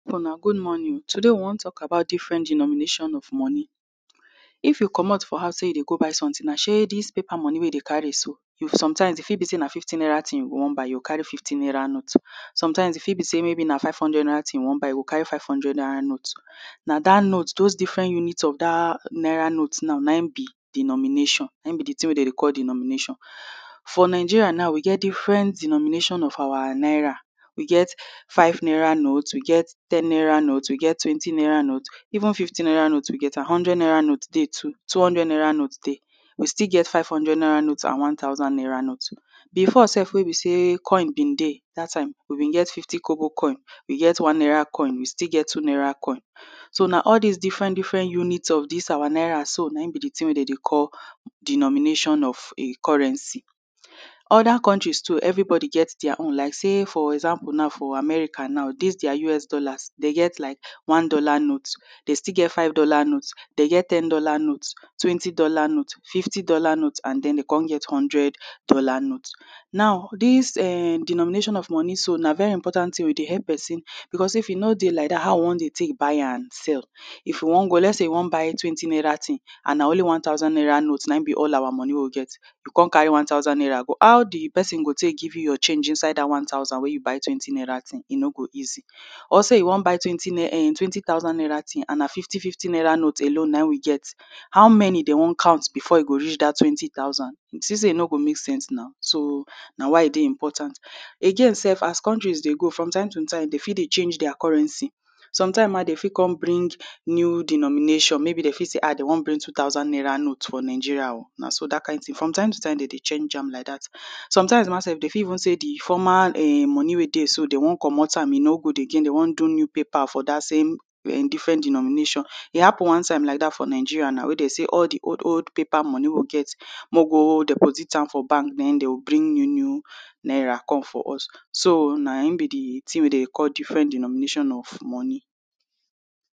Una good morning. Today, we wan talk about different denomination of money. If you comot for house, say you dey go buy something, shey dis paper money wey you dey carry so, hmm, sometimes, e fit be say na fifty naira tin you wan buy; you carry fifty naira note. Sometimes, e fit be say na five hundred naira tin you wan buy; you go carry five hundred naira note. Na dat note, those different units of dat naira note now, na im be denomination; na im be di tin wey dey dey call denomination. For Nigeria now, we get different denomination of our naira. We get five naira note, we get ten naira note, we get twenty naira note; even fifty naira note, we get am. Hundred naira note dey too, two hundred naira note dey. We still get five hundred naira note and one thousand naira note. Before sef, wey be say coin been dey, dat time, we been get fifty kobo coin; we get one naira coin, we still get two naira coin. So now, all dis different different units of dis our naira so, na im be di tin wey dey dey call denomination of a currency. Other countries too, everybody get dia own; like say, for example now, for America now, dis dia US dollars, dey get like one dollar note, dey still get five dollar note. Dey get ten dollar note, twenty dollar note, fifty dollar note, and then, dey come get hundred dollar note. Now, dis um denomination of money so, na very important tin. We dey help pesin because if e no dey like dat, how we wan buy and sell? If you wan go, let's say you wan buy twenty naira tin, and na only one thousand naira note na im be all our money wey you get, you come carry one thousand naira go, how di pesin go take give you your change inside dat one thousand wey you buy twenty naira tin? E no go easy. Or say you wan buy twenty um, twenty thousand naira tin, and na fifty, fifty naira note alone na im we get, how many dem wan count before e go reach dat twenty thousand? You see say e no go make sense na. So, na why e dey important. Again sef, as countries dey go, from time to time, dem fit dey change dia currency. Some time ma, dem fit come bring new denomination; maybe dey feel say, Ah! Dem wan bring two thousand naira note for Nigeria o, na so dat kain tin From time to time, dey dey change am like dat. Sometimes ma, dey fit even say di former um money wey dey do, dey wan comot am, e no good again; dey wan do new paper for dat same um different denomination. E happen one time like dat for Nigeria, wey dey say all di old, old paper money wey we get, make we go deposit am for bank; na im dey go bring new, new naira come for us. So, na im be di tin wey dem dey call different denomination of money.